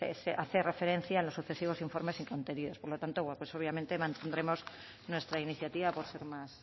hace referencia en los sucesivos informes y contenidos por lo tanto obviamente mantendremos nuestra iniciativa por ser más